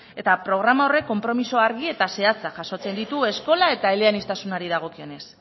eta programa horrek konpromisoa argi eta zehatzak jasotzen ditu eskola eta eleaniztasunari dagokionez